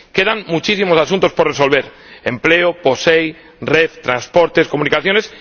Quedan muchísimos asuntos por resolver empleo, POSEI, REF, transportes, comunicaciones...